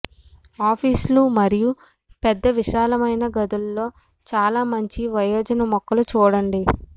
ఆఫీసులు మరియు పెద్ద విశాలమైన గదులలో చాలా మంచి వయోజన మొక్కలు చూడండి